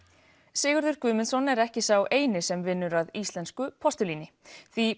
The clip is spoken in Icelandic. Sigurður Guðmundsson er ekki sá eini sem vinnur að íslensku postulíni því